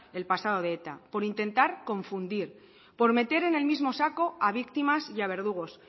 el pasado de eta por intentar confundir por meter en el mismo saco a víctimas y a verdugos